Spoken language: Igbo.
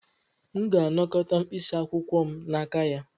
M ga-anakọta mkpịsị akwụkwọ m n'aka ya.